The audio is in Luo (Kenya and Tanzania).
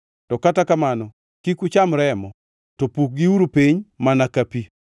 To kata kamano kik ucham remo, to pukgiuru piny mana ka pi.